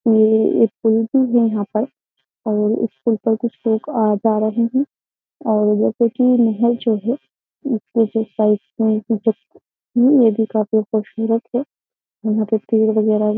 और इस पूल पर कुछ लोग आ जा रहे हैं और जैसे की महल जो है उसपे जो साइड पेड़ है काफी खूबसूरत है। यहाँ पर पेड़ वगेरा --